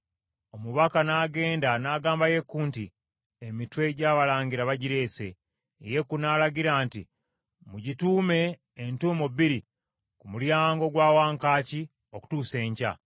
Omubaka n’agenda n’agamba Yeeku nti, “Emitwe gy’abalangira bagireese.” Yeeku n’alagira nti, “Mugituume entuumo bbiri ku mulyango gwa wankaaki okutuusa enkya.”